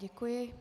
Děkuji.